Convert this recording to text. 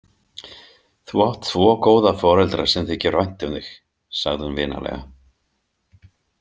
Þú átt tvo góða foreldra sem þykir vænt um þig, sagði hún vinalega.